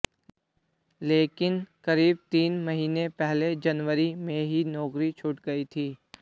लेकिन क़रीब तीन महीने पहले जनवरी में ही नौकरी छूट गई थी